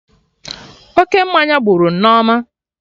Oke mmanya gburu Nneoma